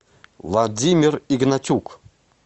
владимир игнатюк